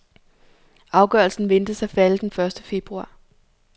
Afgørelsen ventes at falde den første februar.